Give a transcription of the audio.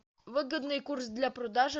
выгодный курс для продажи